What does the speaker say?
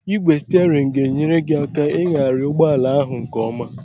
Ị́gwè stierinu ga-enyere gị aka ihighari ụgbọala ahụ nkeọma.